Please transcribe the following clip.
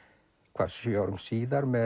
hvað sjö árum síðar með